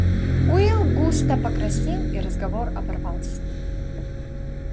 уилл густо покраснел и разговор оборвался